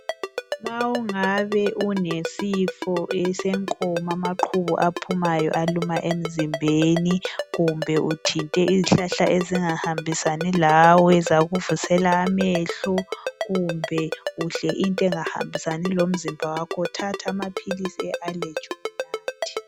Ma ungabe unesifo esenkomo amaqhubu alumayo aphuma emzimbeni kumbe uthinte izihlahla ezingahambisani lawe zakuvusela amehlo, kumbe udle into engahambisani lomzimba wakho, thatha amaphilisi e allegy unathe.